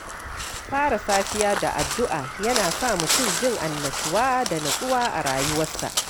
Fara safiya da addu’a yana sa mutum jin annashuwa da natsuwa a rayuwarsa.